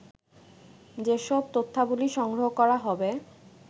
যেসব তথ্যাবলি সংগ্রহ করা হবে